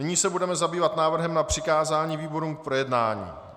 Nyní se budeme zabývat návrhem na přikázání výborům k projednání.